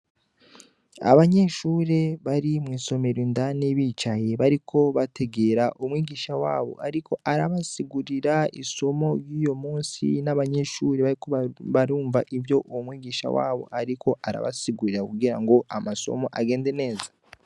Abanyeshure bari mwisomero indani bicaye bariko bategera umwigisha wabo ariko arabasigurira isomo ryuyumusi n'abanyeshure bariko barumva ivyo uwomwigisha wabo ariko arabasigurira kugirango amasomo agende neza.